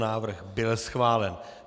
Návrh byl schválen.